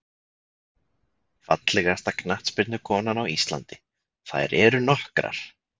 Fallegasta knattspyrnukonan á Íslandi: Þær eru nokkrar.